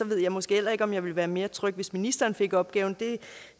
ved jeg måske heller ikke om jeg ville være mere tryg hvis ministeren fik opgaven